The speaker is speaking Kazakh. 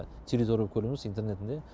территория болып көрінеміз интернетінде